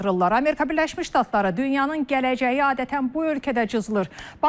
Amerika Birləşmiş Ştatları, dünyanın gələcəyi adətən bu ölkədə cızılır.